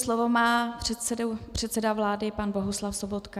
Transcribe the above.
slovo má předseda vlády pan Bohuslav Sobotka.